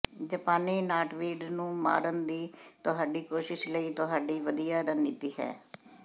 ਜਾਪਾਨੀ ਨਾਟਵੀਡ ਨੂੰ ਮਾਰਨ ਦੀ ਤੁਹਾਡੀ ਕੋਸ਼ਿਸ਼ ਲਈ ਤੁਹਾਡੀ ਵਧੀਆ ਰਣਨੀਤੀ ਹੈ